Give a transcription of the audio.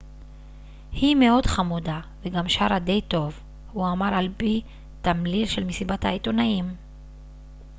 היא מאוד חמודה וגם שרה די טוב הוא אמר על פי תמליל של מסיבת העיתונאים